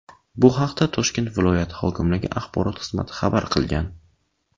Bu haqda Toshkent viloyati hokimligi axborot xizmati xabar qilgan .